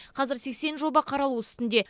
қазір сексен жоба қаралу үстінде